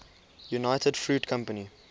united fruit company